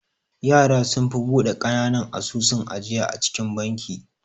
Yara sunfi bude kananan asusun ajiya a cikin banki.